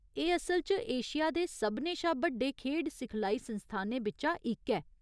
एह् असल च एशिया दे सभनें शा बड्डे खेढ सिखलाई संस्थानें बिच्चा इक ऐ।